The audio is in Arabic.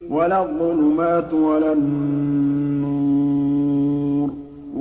وَلَا الظُّلُمَاتُ وَلَا النُّورُ